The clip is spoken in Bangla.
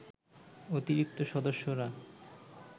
অতিরিক্ত সদস্যরা